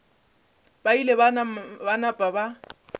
ba ile ba napa ba